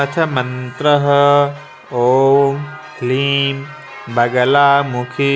अथ मन्त्रः ॐ ह्लीं बगलामुखि